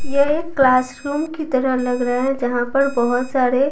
ये एक क्लासरूम की तरह लग रहा है जहां पर बहुत सारे--